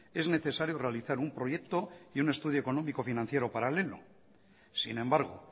es necesario realizar un proyecto y un estudio económico financiero paralelo sin embargo